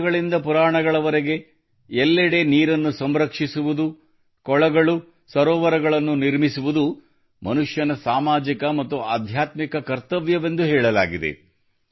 ವೇದಗಳಿಂದ ಪುರಾಣಗಳವರೆಗೆ ಎಲ್ಲೆಡೆ ನೀರನ್ನು ಸಂರಕ್ಷಿಸುವುದು ಕೊಳಗಳು ಸರೋವರಗಳನ್ನು ನಿರ್ಮಿಸುವುದು ಮನುಷ್ಯನ ಸಾಮಾಜಿಕ ಮತ್ತು ಆಧ್ಯಾತ್ಮಿಕ ಕರ್ತವ್ಯವೆಂದು ಹೇಳಲಾಗಿದೆ